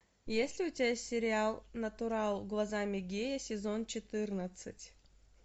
есть ли у тебя сериал натурал глазами гея сезон четырнадцать